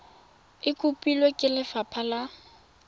e kopilwe ke lefapha la